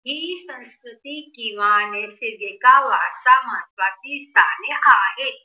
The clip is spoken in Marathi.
ही संस्कृती किंवा नैसर्गिक आवासा महत्वाची स्थाने आहेत.